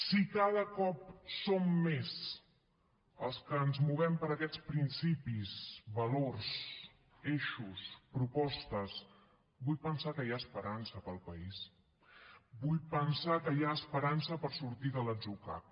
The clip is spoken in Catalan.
si cada cop som més els que ens movem per aquests principis valors eixos propostes vull pensar que hi ha esperança per al país vull pensar que hi ha esperança per sortir de l’atzucac